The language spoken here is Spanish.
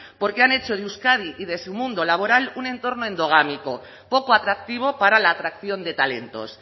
porque han hecho de euskadi y de su mundo laboral un entorno endogámico poco atractivo para la atracción de talentos